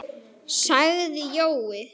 Það munar miklu.